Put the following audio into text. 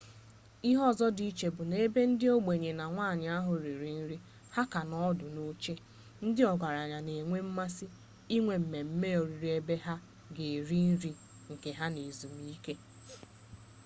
ihe ọzọ dị iche bụ na ebe ndị ogbenye na nwanyị ahụ riri nri ha ka ha nọ ọdụ n'oche ndị ọgaranya na-enwe mmasị inwe mmemme oriri ebe ha ga-eri nke ha n'ezumike